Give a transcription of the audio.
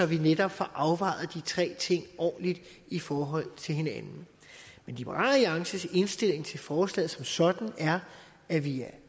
vi netop får afvejet de tre ting ordentligt i forhold til hinanden men liberal alliances indstilling til forslaget som sådan er at vi er